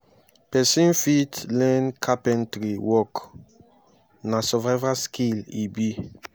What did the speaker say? pesin fit learn carpentary work na survival skill e be.